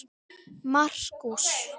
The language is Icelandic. Markús